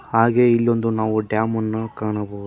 ಹಾಗೆ ಇಲ್ಲೊಂದು ನಾವು ಡ್ಯಾಮನ್ನು ಕಾಣಬಹುದು.